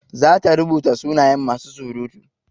Zata rubuta sunayen masu surutu.